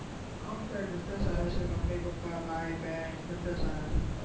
complete બધા સારા છે મમ્મી પપ્પા ભાઈ બેહેન બધા સારા છે